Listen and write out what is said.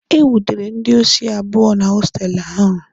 E nwudere ndị osi abụọ na hostelụ ahụ.